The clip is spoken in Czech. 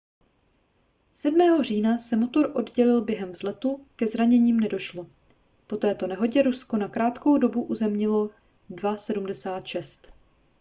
7. října se motor oddělil během vzletu ke zraněním nedošlo po této nehodě rusko na krátkou dobu uzemnilo il-76